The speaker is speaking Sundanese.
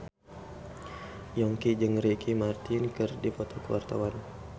Yongki jeung Ricky Martin keur dipoto ku wartawan